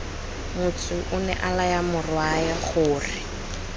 motsu onea laya morwae gore